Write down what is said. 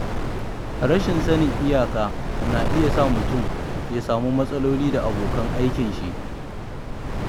Rashin sanin iyaka na iya sa mutum ya samu matsaloli da abokan aikinshi.